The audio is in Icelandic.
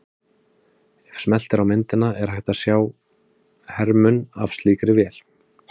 Ef smellt er á myndina er hægt að sjá hermun af slíkri vél.